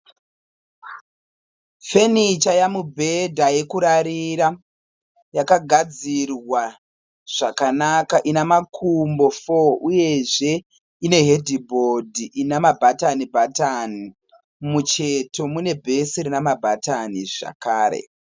Fenicha yamubhedha yekurarira. Yakagadzirwa zvakanaka ina makumbo foo uyezve ine hedhibhodhi ina mabharani bhatani. Mumucheto mune bhesi rina mabhatani zvakare.